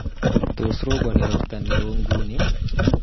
Tos, robani robta neo nguni?